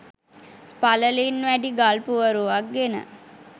පළලින් වැඩි ගල් පුවරුවක් ගෙන